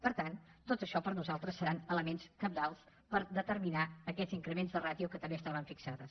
per tant tot això per nosaltres seran elements cabdals per determinar aquests increments de ràtio que també es taven fixats